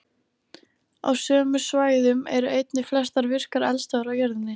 Á sömu svæðum eru einnig flestar virkar eldstöðvar á jörðinni.